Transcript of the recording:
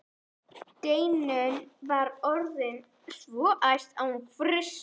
Steinunn var orðin svo æst að hún frussaði.